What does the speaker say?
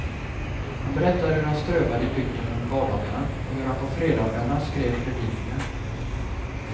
Han berättade hur han strövade i bygden under vardagarna och hur han på fredagarna skrev predikningar.